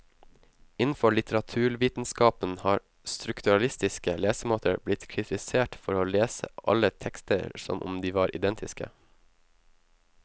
Innenfor litteraturvitenskapen har strukturalistiske lesemåter blitt kritisert for å lese alle tekster som om de var identiske.